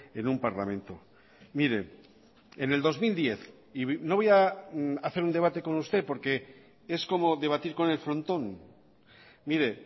en un parlamento mire en el dos mil diez y no voy a hacer un debate con usted porque es como debatir con el frontón mire